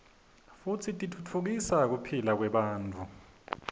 futsi titfutfukisa kuphila kwebantfu